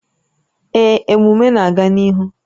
Ee, emume a na-aga n'ihu